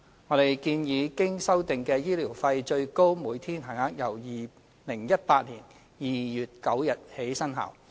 我們建議經修訂的醫療費最高每天限額由2018年2月9日起生效。